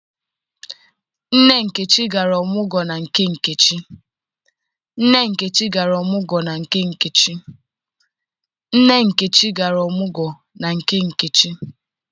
Nne Nkechi gara ọmụgwọ na nke nkechi.